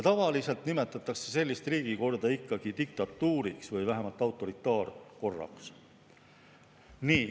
Tavaliselt nimetatakse sellist riigikorda diktatuuriks või vähemalt autoritaarseks korraks.